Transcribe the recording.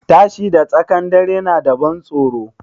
Tashi da tsakan dare na da ban tsoro